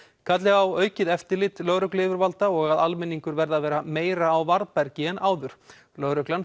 kalli á eftirlit lögregluyfirvalda og að almenningur verði að vera meira á varðbergi en áður lögreglan